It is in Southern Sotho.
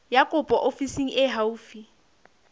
ya kopo ofising e haufi